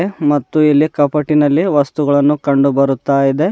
ಮತ್ತು ಎಲ್ಲಿ ಕಾಪಾಟಿನಲ್ಲಿ ವಸ್ತುಗಳನ್ನು ಕಂಡು ಬರುತ್ತಾ ಇದೆ.